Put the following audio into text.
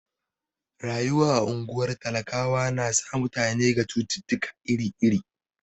Rayuwa a ungwar talakawa na sa mutane ga cututtuka iri iri.